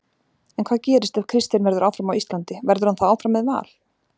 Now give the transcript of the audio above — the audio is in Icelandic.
En hvað gerist ef Kristinn verður áfram á Íslandi, verður hann þá áfram með Val?